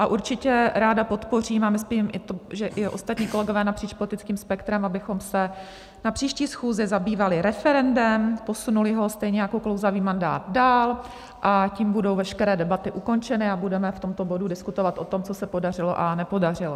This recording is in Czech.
A určitě ráda podpořím - a myslím, že i ostatní kolegové napříč politickým spektrem - abychom se na příští schůzi zabývali referendem, posunuli ho stejně jako klouzavý mandát dál a tím budou veškeré debaty ukončeny, a budeme v tomto bodu diskutovat o tom, co se podařilo a nepodařilo.